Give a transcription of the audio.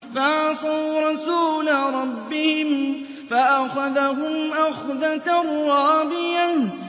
فَعَصَوْا رَسُولَ رَبِّهِمْ فَأَخَذَهُمْ أَخْذَةً رَّابِيَةً